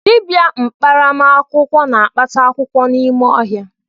Dịbịa mkparamakwụkwọ na-akpata akwụkwọ n’ime ọhịa